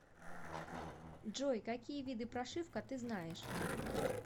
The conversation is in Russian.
джой какие виды прошивка ты знаешь